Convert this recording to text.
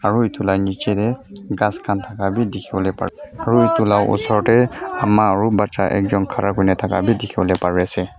aro etu la nijae dae khas khan taka bi diki polae pare aro etu la osor dae ama aro bacha ekjun Kara kurina taka bi dikipolae pari asae.